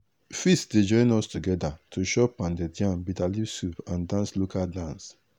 feast dey join us together to chop pounded yam bitterleaf soup and dance local dance.